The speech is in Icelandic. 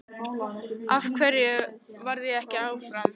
Af hverju varð ég ekki áfram?